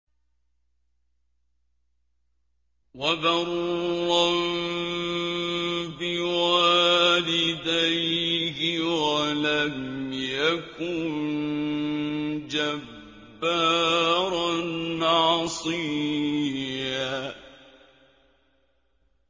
وَبَرًّا بِوَالِدَيْهِ وَلَمْ يَكُن جَبَّارًا عَصِيًّا